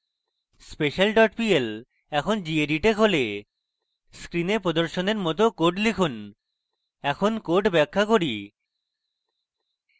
special dot pl এখন gedit এ খোলে screen প্রদর্শনের মত code লিখুন এখন code ব্যাখ্যা করি